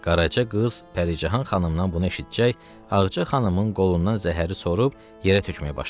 Qaraca qız Pərican xanımdan bunu eşitcək, Ağca xanımın qolundan zəhəri sorub yerə tökməyə başladı.